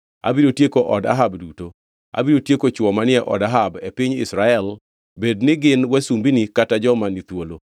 Abiro tieko od Ahab duto. Abiro tieko chwo manie od Ahab e piny Israel bedni gin wasumbini kata joma ni thuolo.